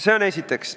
Seda esiteks.